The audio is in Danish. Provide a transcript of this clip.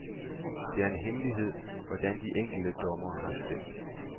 Det er en hemmelighed, hvordan de enkelte dommere har stemt.